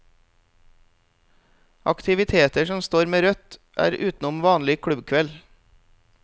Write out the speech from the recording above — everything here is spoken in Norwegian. Aktiviteter som står med rødt er utenom vanlig klubbkveld.